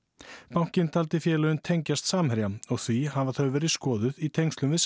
bankinn taldi félögin tengjast Samherja og því hafa þau verið skoðuð í tengslum við